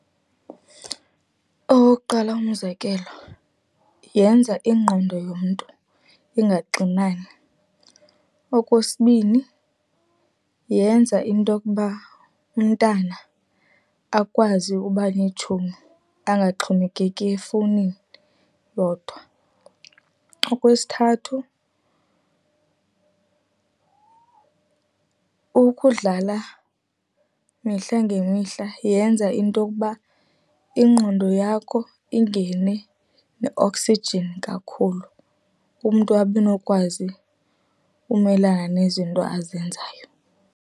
Owokuqala umzekelo, yenza ingqondo yomntu ingaxinani. Okwesibini, yenza intokuba umntana akwazi uba neetshomi angaxhomekeki efowunini yodwa. Okwesithathu, ukudlala mihla ngemihla yenza intokuba ingqondo yakho ingene ne-oxygen kakhulu, umntu abe nokwazi umelana nezinto azenzayo.